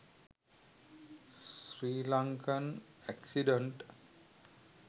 sri lankan accident